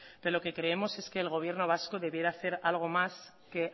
pero lo que creemos es que el gobierno vasco debiera hacer algo más que